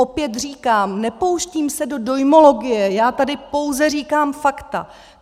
Opět říkám, nepouštím se do dojmologie, já tady pouze říkám fakta.